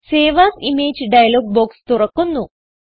save as image dialog box തുറക്കുന്നു